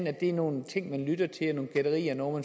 at det er nogle ting man lytter til og nogle gætterier og noget